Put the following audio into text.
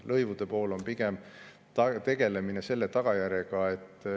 Lõivude pool on pigem tegelemine tagajärjega.